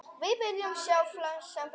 Við viljum sjá sem flesta.